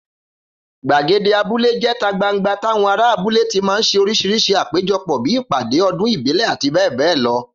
Gbàgede abúlé jé̩ta gbangba táwo̩n ará abule ti máa ń s̩e orís̩irís̩i àpéjo̩pò̩ bíi ìpàdé, o̩dún ìbílè̩, abbl.